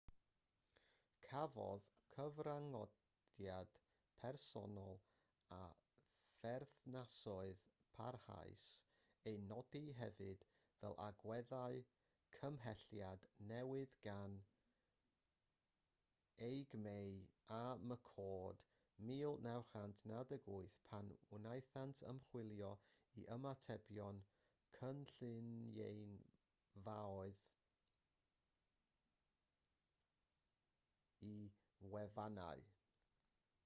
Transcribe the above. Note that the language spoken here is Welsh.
cafodd cyfranogiad personol a pherthnasoedd parhaus eu nodi hefyd fel agweddau cymhelliad newydd gan eighgmey a mccord 1998 pan wnaethant ymchwilio i ymatebion cynulleidfaoedd i wefannau